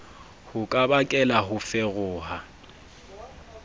ho ka bakela ho feroha